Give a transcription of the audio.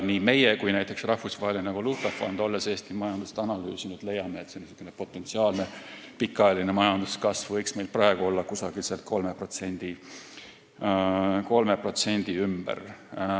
Nii meie kui ka näiteks Rahvusvaheline Valuutafond, olles Eesti majandust analüüsinud, leiame, et niisugune potentsiaalne pikaajaline majanduskasv võiks meil praegu olla 3% ümber.